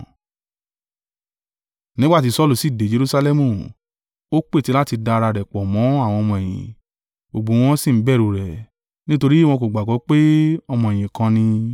Nígbà ti Saulu sì de Jerusalẹmu ó pète láti da ara rẹ̀ pọ̀ mọ́ àwọn ọmọ-ẹ̀yìn; gbogbo wọn sì bẹ̀rù rẹ̀, nítorí wọn kò gbàgbọ́ pé ọmọ-ẹ̀yìn kan ni.